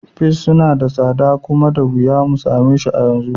Peas suna da tsada kuma da wuya mu sameshi yanzu.